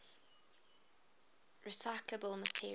recyclable materials